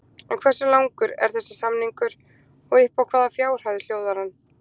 En hversu langur er þessi samningur og upp á hvaða fjárhæð hljóðar hann?